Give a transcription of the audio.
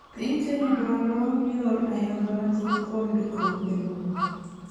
Piny Kenya dwaro yor ayanga mathoth kuom ndikruok elowo.